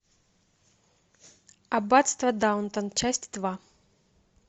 аббатство даунтон часть два